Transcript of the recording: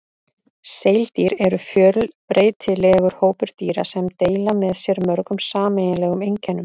Seildýr eru fjölbreytilegur hópur dýra sem deila með sér mörgum sameiginlegum einkennum.